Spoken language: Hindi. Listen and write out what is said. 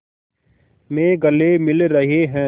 में गले मिल रहे हैं